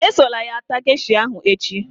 Esola ya taa gesha ahụ echi